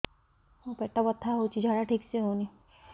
ମୋ ପେଟ ବଥା ହୋଉଛି ଝାଡା ଠିକ ସେ ହେଉନି